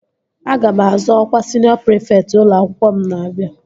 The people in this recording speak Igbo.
Aga m azọ ọkwa siniọ prịfekt ụlọ akwụkwọ m na-abịa